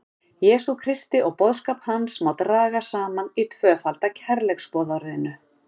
Jesú Kristi og boðskap hans sem má draga saman í tvöfalda kærleiksboðorðinu.